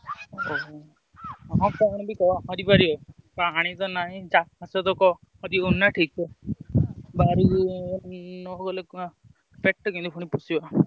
ଓହୋ। ଆଉ କଣ ବି କରିପାରିବ ପାଣି ତ ନାହିଁ ଚାଷ ବାସ ବି ବାହାରକୁ ନ ଗଲେ ପେଟ ପୁଣି କେମିତି ପୋଷିବ?